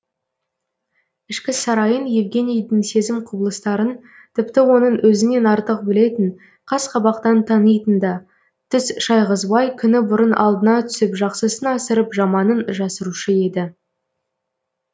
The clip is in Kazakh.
ішкі сарайын евгенийдің сезім құбылыстарын тіпті оның өзінен артық білетін қас қабақтан танитын да түс шайғызбай күні бұрын алдына түсіп жақсысын асырып жаманын жасырушы еді